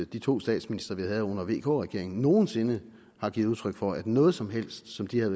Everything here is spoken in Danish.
de to statsministre vi havde under vk regeringen nogen sinde har givet udtryk for at noget som helst som de havde